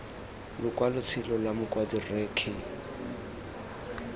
lokwalotshelo lwa mokwadi rre k